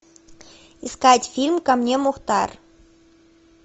искать фильм ко мне мухтар